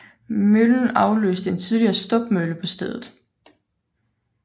Møllen afløste en tidligere stubmølle på stedet